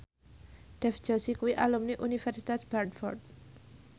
Dev Joshi kuwi alumni Universitas Bradford